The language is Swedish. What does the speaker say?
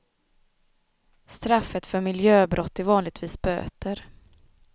Straffet för miljöbrott är vanligtvis böter.